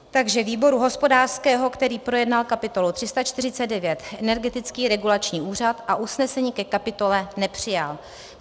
Takže výboru hospodářského, který projednal kapitolu 349 Energetický regulační úřad a usnesení ke kapitole nepřijal;